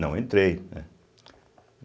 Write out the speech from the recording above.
Não entrei, né.